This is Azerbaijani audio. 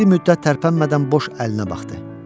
Bir müddət tərpənmədən boş əlinə baxdı.